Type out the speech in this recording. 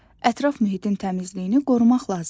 Ətraf mühitin təmizliyini qorumaq lazımdır.